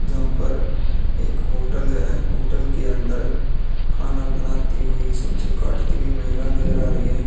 जहाँ पर एक होटल है होटल के अंदर खाना बनाती हुई सब्जी काटती हुई महिला नज़र आ रहीं है।